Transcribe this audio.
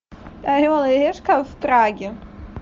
орел и решка в праге